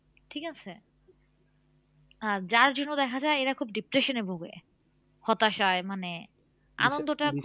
ঠিক আছে? আর যার জন্য দেখা যায় এরা খুব depression এ ভোগে হতাশায় মানে আনন্দটা